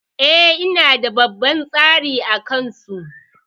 E, ina da babban tsari a kansu.